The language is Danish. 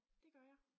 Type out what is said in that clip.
De gør jeg